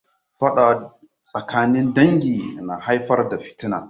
Faɗa tsakanin dangi na haifar da fitina.